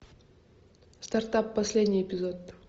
стартап последний эпизод